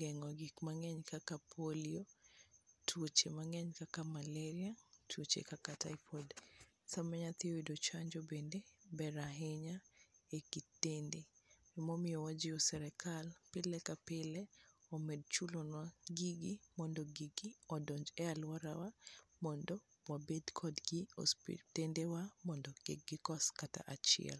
geng'o gik mang'eny kaka polio, tuoche mang'eny kaka maleria, tuoche kaka typhoid. Sama nyathi oyudo chanjo bende ber ahinya ekit dende emomiyo wajiwo sirikal pile ka pile omed chulonwa gigi mondo gigi odonj e alworawa mondo wabed kodgi osiptendwa mondo kik gikos kata achiel.